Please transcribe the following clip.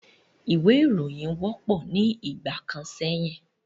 Ìwé ìròyìn wọ́pọ̀ ní ìgbà kan sẹ́yìn